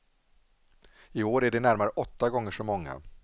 I år är det närmare åtta gånger så många.